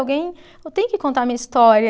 Alguém. Eu tenho que contar a minha história.